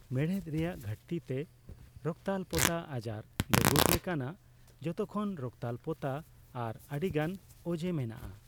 ᱢᱮᱬᱦᱮᱫ ᱨᱮᱭᱟᱜ ᱜᱷᱟᱹᱴᱛᱤ ᱛᱮ ᱨᱚᱠᱛᱟᱞᱯᱚᱛᱟ ᱟᱡᱟᱨ ᱫᱚᱜᱩᱴ ᱞᱮᱠᱟᱱᱟᱜ ᱡᱷᱚᱛᱚ ᱠᱷᱚᱱ ᱨᱚᱠᱛᱟᱞᱯᱚᱛᱟ ᱟᱨ ᱟᱹᱰᱤᱜᱟᱱ ᱚᱡᱮᱛ ᱢᱮᱱᱟᱜᱼᱟ ᱾